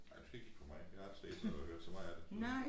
Ej du skal ikke kigge på mig jeg ikke set og hørt så meget af det